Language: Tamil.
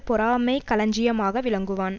பொறாமைக் களஞ்சியமாக விளங்குவான்